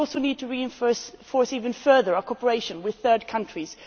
We also need to reinforce even further our cooperation with third countries.